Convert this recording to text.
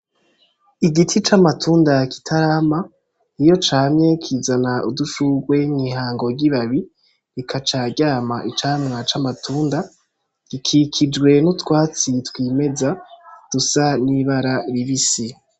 Igiti c'amatunda kitarama , iyo camye kizana udushurwe mw'ihango ry'ibabi rikaca ryama icamwa c'amatunda kikijwe n'utwatsi twimeza dusa n'ibara ribisi.